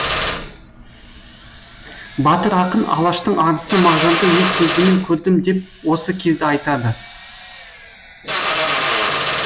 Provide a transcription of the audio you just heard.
батыр ақын алаштың арысы мағжанды өз көзіммен көрдім деп осы кезді айтады